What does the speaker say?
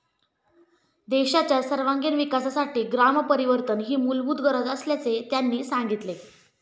देशाच्या सर्वांगिण विकासासाठी ग्रामपरिवर्तन ही मूलभूत गरज असल्याचे त्यांनी सांगितले.